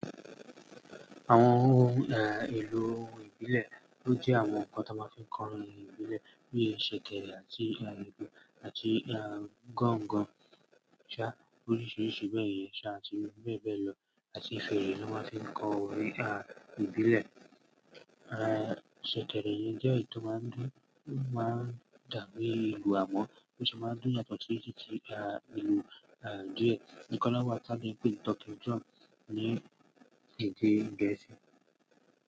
Àwọn ohun èlò ìbílẹ̀ ní ó jẹ́ àwọn ǹkan tó máa ń fi ń kọ orin ìbílẹ̀ bí i ṣẹ̀kẹ̀rẹ̀ àti àgogo àti gángan, ṣá oríṣiríṣi bẹ̀ yẹn sha àti bẹ́ẹ̀ bẹ́ẹ̀ lọ àti fèrè ló máa ń fi ń kọ orin ìbílẹ̀. Ṣẹ̀kẹ̀rẹ̀ yí jẹ́ èyí tó máa ń dá lé ìlù àmọ́ bí ṣe máa ń dùn yàtọ̀ sí èyí tí ìlú díẹ̀. Ìkan náà wà tá kin pèé ní talking drum ní ìdí Gẹ̀ẹ́sì.